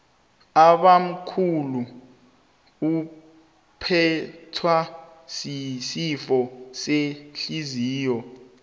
ubamkhulu uphethwe sisifo sehliziyo